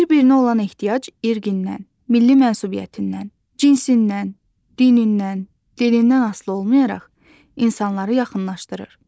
Bir-birinə olan ehtiyac irqindən, milli mənsubiyyətindən, cinsindən, dinindən, dilindən asılı olmayaraq insanları yaxınlaşdırır.